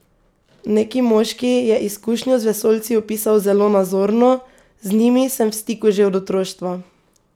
Neki moški je izkušnjo z vesoljci opisal zelo nazorno: ''Z njimi sem v stiku že od otroštva.